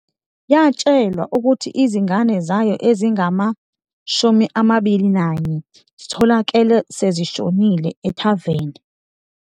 Yatshelwa ukuthi izingane zayo ezingama-21 zitholakale sezishonile, ethaveni.